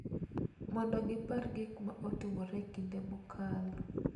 Mondo gipar gik ma notimore e kinde mokalo,